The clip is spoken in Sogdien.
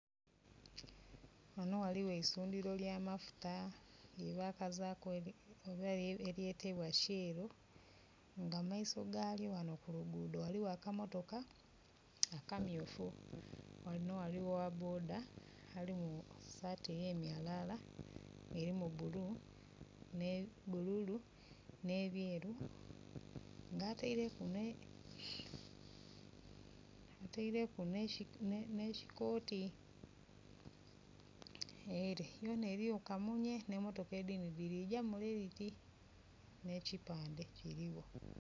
Wano waliwo eisundhiro lya mafuta lye bakazaku oba eryetebwa shell nga mu maiso galyo ghano kulugudho waliwo akamotoka aka myufu. Wano waliwo owa boda ali mu saati eyemyalaala erimu bulu, bululu ne byeru nga ateireku ne kikoti. Ere yona eriyo kamunye ne motoka edindhi dirigya mule dhiti ne kipandhe kirigho